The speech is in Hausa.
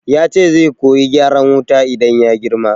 Yace zai koyi gyaran wuta idan ya girma